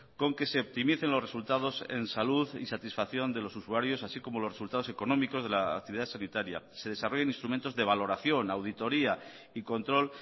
con que se optimicen los resultados en salud y satisfacción de los usuarios así como los resultados económicos de la actividad sanitaria se desarrollen instrumentos de valoración auditoria y control